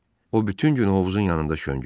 O bütün gün hovuzun yanında şöngüdü.